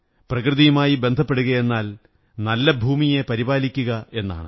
പ്രകൃതിയുമായി ബന്ധപ്പെടുകയെന്നാൽ നല്ല ഭൂമിയെ പരിപാലിക്കുക എന്നാണ്